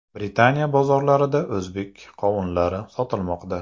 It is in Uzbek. Britaniya bozorlarida o‘zbek qovunlari sotilmoqda.